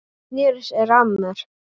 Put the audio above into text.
Hún sneri sér að mér.